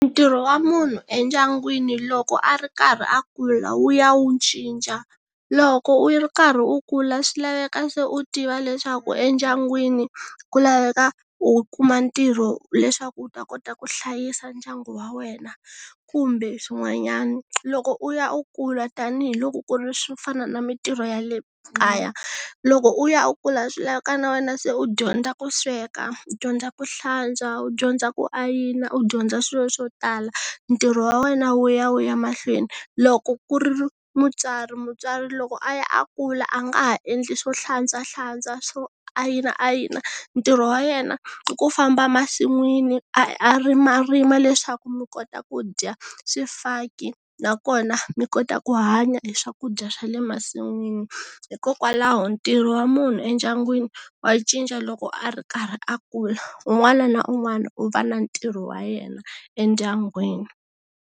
Ntirho wa munhu endyangwini loko a ri karhi a kula wu ya wu cinca loko u yi ri karhi u kula swi laveka se u tiva leswaku endyangwini ku laveka u kuma ntirho leswaku u ta kota ku hlayisa ndyangu wa wena kumbe swin'wanyana loko u ya u kula tanihiloko ku ri swi fana na mintirho ya le kaya loko u ya u kula swi lavaka na wena se u dyondza ku sweka, u dyondza ku hlantswa, u dyondza ku ayina u dyondza swilo swo tala ntirho wa wena wu ya wu ya mahlweni loko ku ri mutswari mutswari loko a ya a kula a nga ha endli swo hlantswahlantswa swo ayina ayina ntirho wa yena i ku famba masin'wini a rimarima leswaku mi kota ku dya swifaki nakona mi kota ku hanya hi swakudya swa le masin'wini hikokwalaho ntirho wa munhu endyangwini wa cinca loko a ri karhi a kula un'wana na un'wana u va na ntirho wa yena endyangwini